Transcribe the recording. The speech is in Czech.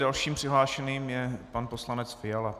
Dalším přihlášeným je pan poslanec Fiala.